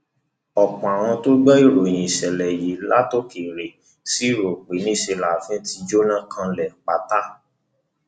ọpọ àwọn tó ń gbọ ìròyìn ìṣẹlẹ yìí látòkèèrè ṣì rò pé níṣẹ láàfin ti jóná kanlẹ pátá